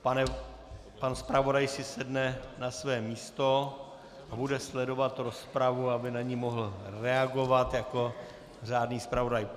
Pan zpravodaj si sedne na své místo a bude sledovat rozpravu, aby na ni mohl reagovat jako řádný zpravodaj.